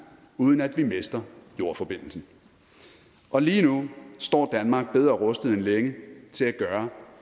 uden at vi mister jordforbindelsen og lige nu står danmark bedre rustet end længe til at gøre